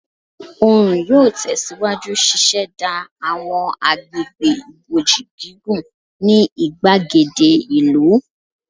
Oorun yoo tẹsiwaju ṣiṣẹda awọn agbegbe iboji gigun ni igbagede ìlú